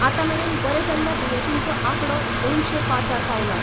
आतामेरेन बरे जाल्ल्या दुयेतींचो आकडो दोनशे पाचार पांवला.